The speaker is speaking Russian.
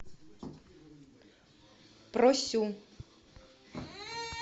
просю